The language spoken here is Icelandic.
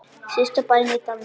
Síðasta bæinn í dalnum.